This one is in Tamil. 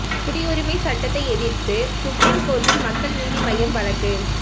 குடியுரிமை சட்டத்தை எதிர்த்து சுப்ரீம் கோர்ட்டில் மக்கள் நீதி மய்யம் வழக்கு